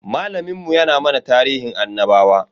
Malamin mu ya na mana tarihin annabawa.